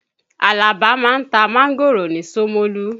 Àlàbá ma ń ta máńgòrò ni Ṣómólú.